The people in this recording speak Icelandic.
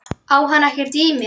Á hann ekkert í mér?